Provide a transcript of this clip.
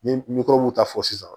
N ye mikɔrɔbuw ta fɔ sisan